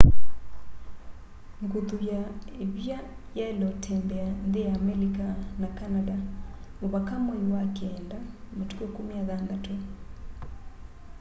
nguthu ya ivia yaile utembea nthi ya amelika na canada muvaka mwai wa keenda matuku 16